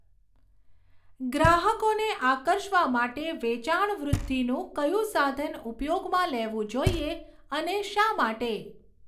ગ્રાહકોને આકર્ષવા માટે વેચાણવૃધ્ધિનું કયું સાધન ઉપયોગમાં લેવું જોઈએ અને શા માટે?